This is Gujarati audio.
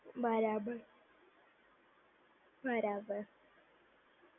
બરાબર, બરાબર.